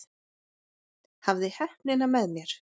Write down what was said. Hafði heppnina með mér